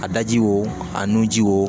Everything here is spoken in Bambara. A daji wo a nun ji wo